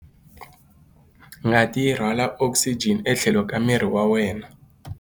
Ngati yi rhwala okisijeni etlhelo ka miri wa wena.